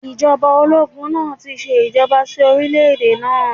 Ìjọba ológun náà ti ṣe ìjàmbá sí orílẹ̀-èdè náà.